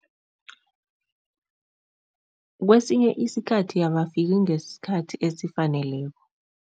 Kwesinye isikhathi abafiki ngesikhathi esifaneleko.